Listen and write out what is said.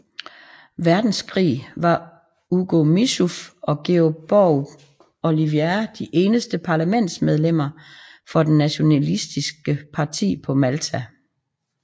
Verdenskrig var Ugo Mifsud og George Borg Olivier de eneste parlamentsmedlemmer for det nationalistiske parti på Malta